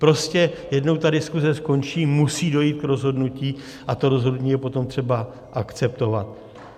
Prostě jednou ta diskuse skončí, musí dojít k rozhodnutí a to rozhodnutí je potom třeba akceptovat.